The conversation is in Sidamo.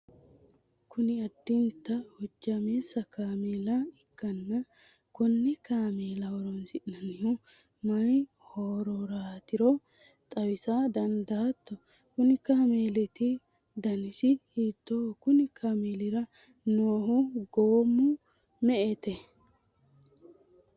kuni addinta hojjaameessa kaameela ikkanna konne kaameela horonsi'nannihu mayi hororaatiro xawisa dandaatto? konni kaameeliti danisi hiittooho? konni kaameelira noohu goommu kiiro me''ete?